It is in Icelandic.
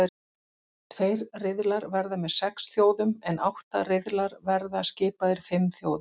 Tveir riðlar verða með sex þjóðum en átta riðlar verða skipaðir fimm þjóðum.